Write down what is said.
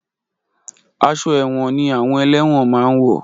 Aṣọ ẹ̀wọ̀n ni àwọn ẹlẹ́wọ̀n máa ń wọ̀.